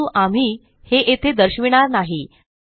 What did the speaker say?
परंतु आम्ही हे येथे दर्शविणार नाही